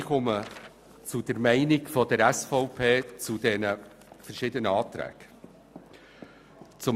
Ich gebe die Meinung der SVP zu den verschiedenen Planungserklärungen wieder.